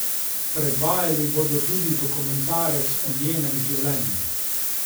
Predvajali bodo tudi dokumentarec o njenem življenju.